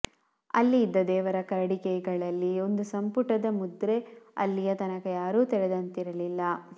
ಅಲ್ಲಿ ಇದ್ದ ದೇವರ ಕರಡಿಕೆಗಳಲ್ಲಿ ಒಂದು ಸಂಪುಟದ ಮುದ್ರೆ ಅಲ್ಲಿಯ ತನಕ ಯಾರೂ ತೆರೆದಂತಿರಲಿಲ್ಲ